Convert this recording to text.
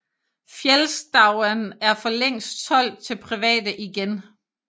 Fjällstauan er for længst solgt til private igen